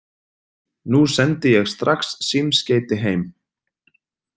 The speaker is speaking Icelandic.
Nú sendi ég strax símskeyti heim.